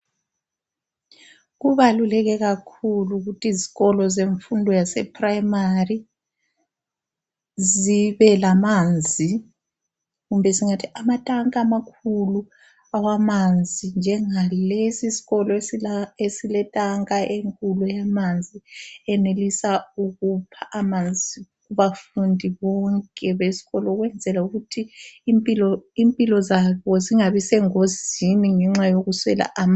Kubaluleke kakhulu ukuthi izikolo zemfundo yasePrimary zibelamanzi kumbe singathi amatanka amakhulu awamanzi njengalesi isikolo esila esile tanka enkulu yamanzi eyenelisa ukupha amanzi abafundi bonke beskolo ukwenzela ukuthi impilo zabo zibangi sengozini ngenxa yokuswela amanzi.